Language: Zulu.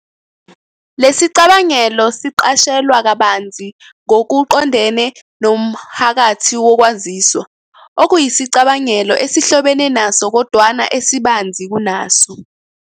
Lesicabangelo siqashelwa kabanzi ngokuqondene nomohakathi wokwaziswa, okuyisicabangelo esihlobene naso kodwana esibanzi kunaso.